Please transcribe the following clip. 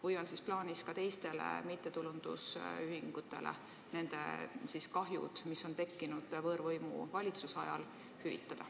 Või on siis plaanis hüvitada ka teistele mittetulundusühingutele kahju, mis on tekkinud võõrvõimu valitsemise ajal?